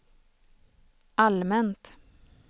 allmänt